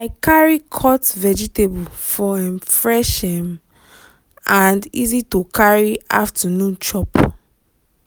i carry cut vegetable for um fresh um and easy to carry afternoon chop.